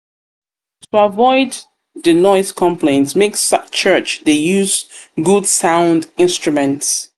avoid di noise conplaints make church de de use good sound instruments